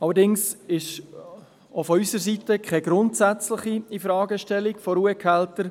Allerdings ist es auch von unserer Seite keine grundsätzliche Infragestellung von Ruhegehältern.